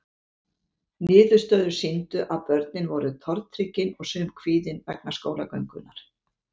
Niðurstöður sýndu að börnin voru tortryggin og sum kvíðin vegna skólagöngunnar.